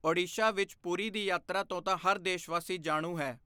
ਓਡੀਸ਼ਾ ਵਿੱਚ ਪੁਰੀ ਦੀ ਯਾਤਰਾ ਤੋਂ ਤਾਂ ਹਰ ਦੇਸ਼ਵਾਸੀ ਜਾਣੂ ਹੈ।